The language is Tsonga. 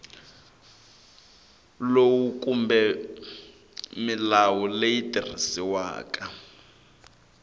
lowu kumbe milawu leyi tirhisiwaka